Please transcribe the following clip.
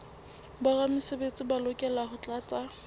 boramesebetsi ba lokela ho tlatsa